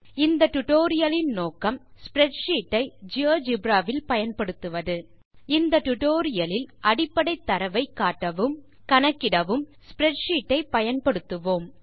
இந்த டியூட்டோரியல் லின் நோக்கம் ஸ்ப்ரெட்ஷீட் ஐ ஜியோஜெப்ரா வில் பயன்படுத்துவது இந்த டியூட்டோரியல் லில் அடிப்படை தரவை காட்டவும் கணக்கிடவும் ஸ்ப்ரெட்ஷீட் ஐ பயன்படுத்துவோம்